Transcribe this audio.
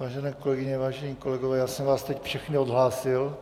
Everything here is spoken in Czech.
Vážené kolegyně, vážení kolegové, já jsem vás teď všechny odhlásil.